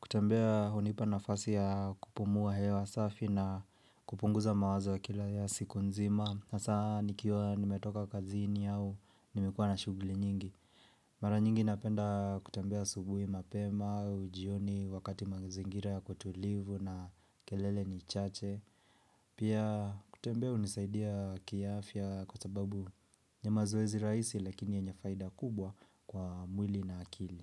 Kutembea hunipa nafasi ya kupumua hewa safi na kupunguza mawazo ya kila ya siku nzima. Hasaa nikiwa nimetoka kazini au nimekuwa na shugli nyingi. Mara nyingi napenda kutembea asubuhi mapema, au jioni, wakati mazingira yako tulivu na kelele ni chache. Pia kutembea hunisaidia kiafya kwa sababu ni mazoezi rahisi lakini yenye faida kubwa kwa mwili na akili.